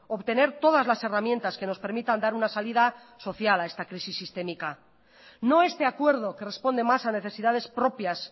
obtener todas las herramientas que nos permitan dar una salida social a esta crisis sistémica no este acuerdo que responde más a necesidades propias